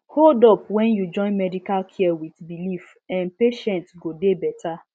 hold up when you join medical care with belief[um]patient go dey better